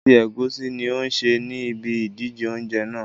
Ẹ̀bà àti ẹ̀gúsí ní ó ń sè ní ibí ìdíje oúnjẹ náà